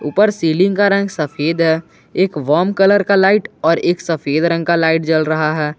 ऊपर सीलिंग का रंग सफेद है एक कलर का लाइट और एक सफेद रंग का लाइट जल रहा है।